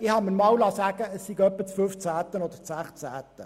Ich habe mir einmal sagen lassen, es seien deren 15 oder 16 gewesen.